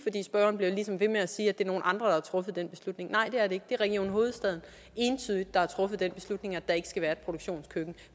spørgeren bliver ligesom ved med at sige at det er nogle andre der har truffet den beslutning nej det er det ikke det er entydigt region hovedstaden der har truffet den beslutning at der ikke skal være et produktionskøkken